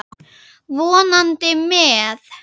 Vonandi með.